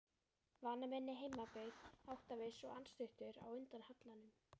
Vanur minni heimabyggð, áttaviss og andstuttur á undan hallanum.